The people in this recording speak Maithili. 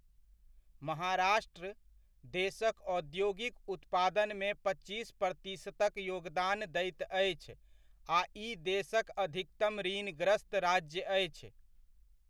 महाराष्ट्र, देशक औद्योगिक उत्पादनमे पच्चीस प्रतिशतक योगदान दैत अछि आ ई देशक अधिकतम ऋणग्रस्त राज्य अछि।